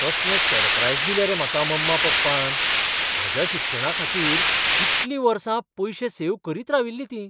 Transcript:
कसलें सरप्रायज दिलें रे म्हाका मम्मा पप्पान. म्हज्या शिक्षणाखातीर इतलीं वर्सां पयशे सेव्ह करीत राविल्लीं तीं.